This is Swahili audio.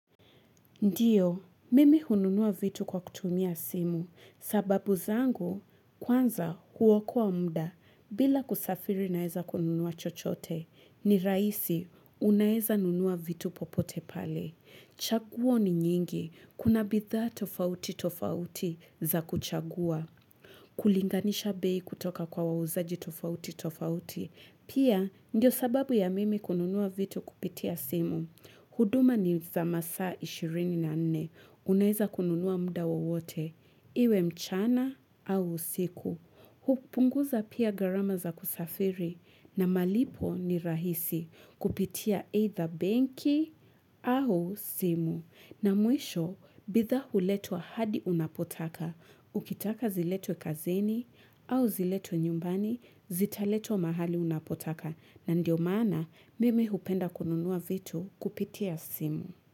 Ndiyo, mimi hununua vitu kwa kutumia simu, sababu zangu, kwanza huokoa muda, bila kusafiri naeza kununua chochote, ni rahisi unaeza nunua vitu popote pale. Chaguo ni nyingi, kuna bidhaa tofauti tofauti za kuchagua. Kulinganisha bei kutoka kwa wauzaji tofauti tofauti, pia, ndio sababu ya mimi kununua vitu kupitia simu. Huduma ni za masaa ishirini na nne. Unaeza kununua muda wote. Iwe mchana au usiku. Hupunguza pia garama za kusafiri. Na malipo ni rahisi kupitia either benki au simu. Na mwisho, bidhaa huletwa hadi unapotaka, ukitaka ziletwe kazini au ziletwe nyumbani, zitaletwa mahali unapotaka na ndio maana mimi hupenda kununua vitu kupitia simu.